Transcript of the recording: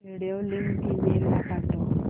video link email ला पाठव